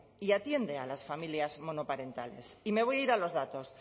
y atiende a las familias monoparentales y me voy a ir a los datos